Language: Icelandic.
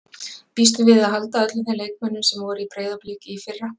Býstu við að halda öllum þeim leikmönnum sem voru í Breiðablik í fyrra?